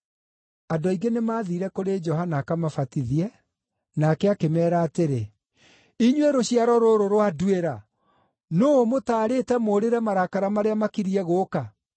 Andũ aingĩ nĩmathiire kũrĩ Johana akamabatithie, nake akĩmeera atĩrĩ, “Inyuĩ rũciaro rũrũ rwa nduĩra! Nũũ ũmũtaarĩte mũũrĩre marakara marĩa makiriĩ gũũka?